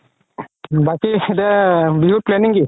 বাকি এতিয়া বিহু planning কি?